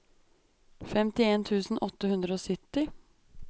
femtien tusen åtte hundre og sytti